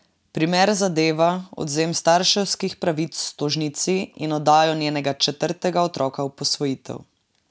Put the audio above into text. Primer zadeva odvzem starševskih pravic tožnici in oddajo njenega četrtega otroka v posvojitev.